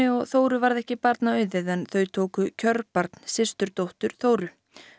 og Þóru varð ekki barna auðið en þau tóku kjörbarn systurdóttur Þóru